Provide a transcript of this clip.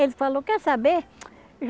Ele falou, quer saber?